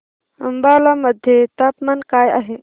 अंबाला मध्ये तापमान काय आहे